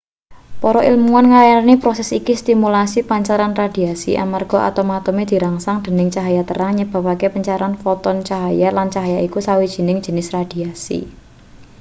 para ilmuan ngarani proses iki stimulasi pancaran radiasi amarga atom-atome dirangsang dening cahya terang nyebabake pancaran foton cahya lan cahya iku sawijining jenis radiasi